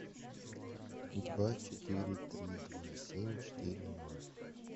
два четыре три два семь четыре ноль